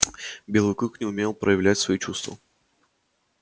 белый клык не умел проявлять свои чувства